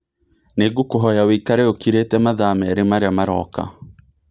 Nĩ ngũkũhoya ũikare ũkirĩte mathaa marĩa merĩ marĩa maroka